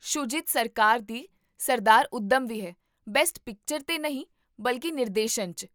ਸ਼ੂਜੀਤ ਸਰਕਾਰ ਦੀ ਸਰਦਾਰ ਊਧਮ ਵੀ ਹੈ, ਬੈਸਟ ਪਿਕਚਰ 'ਤੇ ਨਹੀਂ ਬਲਕਿ ਨਿਰਦੇਸ਼ਨ 'ਚ